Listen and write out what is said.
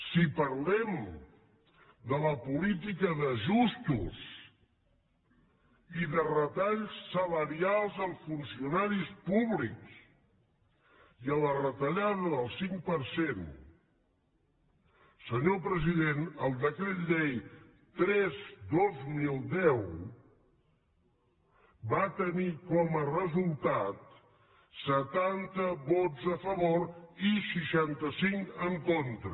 si parlem de la política d’ajustos i de retalls salarials als funcionaris públics i a la retallada del cinc per cent senyor president el decret llei tres dos mil deu va tenir com a resultat setanta vots a favor i seixanta cinc en contra